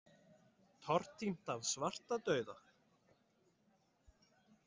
Tortímt af svartadauða?